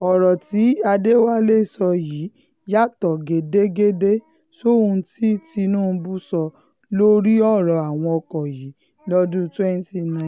ọ̀rọ̀ tí adéwálé sọ yìí yàtọ̀ gédégédé sóhun tí tinubu sọ lórí ọ̀rọ̀ àwọn ọkọ̀ yìí lọ́dún 2019